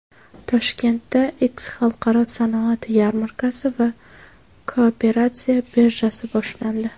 Toshkentda X Xalqaro sanoat yarmarkasi va Kooperatsiya birjasi boshlandi.